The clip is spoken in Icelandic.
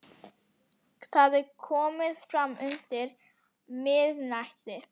Það er komið fram undir miðnætti.